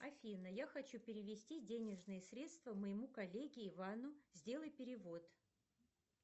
афина я хочу перевести денежные средства моему коллеге ивану сделай перевод